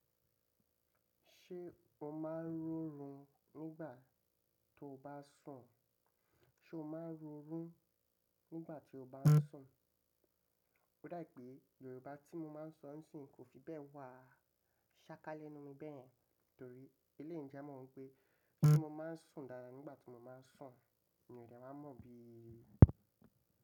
Ṣé o máa ń rọrún nígbà tó bá ń sùn? Sé o máa ń rọrún nígbà tí o bá ń sùn? Ó dà pé Yorùbá tí mo máa ń sọ ń sì kò fi bẹ́ẹ̀ wà. Ṣáká lẹ́nú mi bẹ́ẹ̀, torí elẹ̀yi ń ja wi pé tí mo máa ń sùn dáadáa nígbà tí mo bá ń sùn ni ọ̀rẹ́ máa ń mọ̀ bí i.